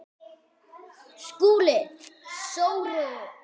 SKÚLI: Sóru?